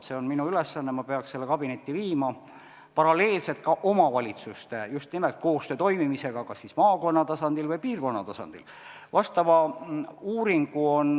See on minu ülesanne, ma peaks selle kabinetti viima, paralleelselt omavalitsuste koostöö toimimise teemaga kas maakonna või piirkonna tasandil.